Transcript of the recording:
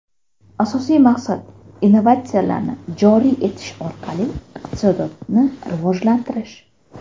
Asosiy maqsad – innovatsiyalarni joriy etish orqali iqtisodiyotni rivojlantirish.